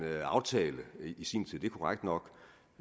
aftale i sin tid det er korrekt nok